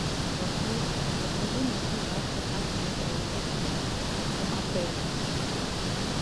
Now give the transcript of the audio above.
голосовой ассистент подскажи мне пожалуйста как мне проехать в отель